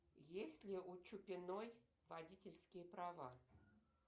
есть ли у чупиной водительские права